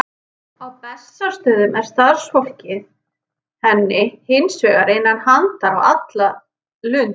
Á Bessastöðum er starfsfólkið henni hins vegar innan handar á alla lund.